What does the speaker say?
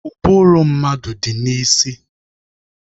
Ụbụrụ mmadụ dị n'isi